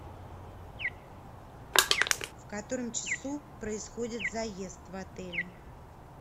в котором часу происходит заезд в отеле